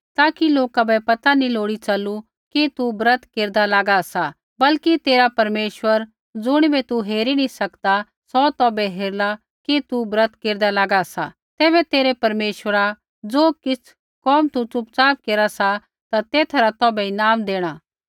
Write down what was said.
ताकि लोका बै पता नी च़लू लोड़ी कि तू ब्रत केरदा लागा सा बल्कि तेरा परमेश्वर ज़ुणिबै तू हेरी नी सकदा सौ तौभै हेरला कि तू ब्रत केरदा लागा सा तैबै तेरै परमेश्वरा ज़ो किछ़ कोम तू च़ुपच़ाप केरा सा तेथा रा तौभै ईनाम देणा